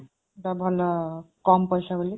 ତ ଭଲ, କମ୍ ପଇସା ବୋଲି।